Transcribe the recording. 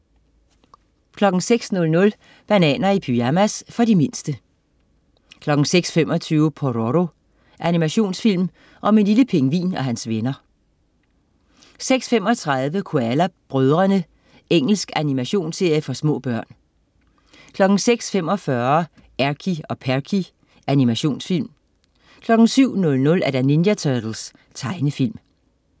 06.00 Bananer i pyjamas. For de mindste 06.25 Pororo. Animationsfilm om en lille pingvin og hans venner 06.35 Koala brødrene. Engelsk animations-serie for små børn 06.45 Erky og Perky. Animationsfilm 07.00 Ninja Turtles. Tegnefilm